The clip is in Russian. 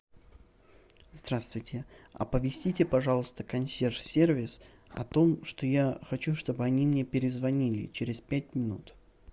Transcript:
здравствуйте оповестите пожалуйста консьерж сервис о том что я хочу чтобы они мне перезвонили через пять минут